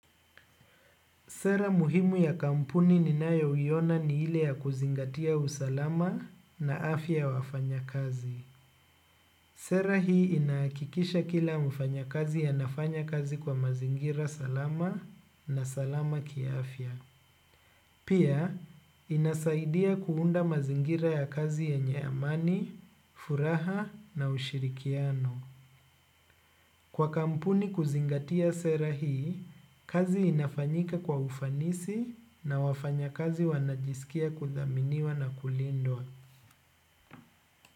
Sera muhimu ya kampuni ninayoiona ni ile ya kuzingatia usalama na afya ya wafanyakazi. Sera hii inahakikisha kila mfanyakazi anafanya kazi kwa mazingira salama na salama ki afya. Pia, inasaidia kuunda mazingira ya kazi yenye amani, furaha na ushirikiano. Kwa kampuni kuzingatia sera hii kazi inafanyika kwa ufanisi na wafanyakazi wanajiskia kudhaminiwa na kulindwa.